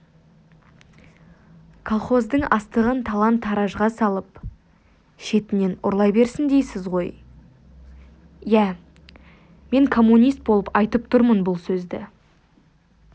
колхоздың астығын талан-таражға салып шетінен ұрлай берсін дейсіз ғой иә мен коммунист болып айтып тұрмын бұл сөзді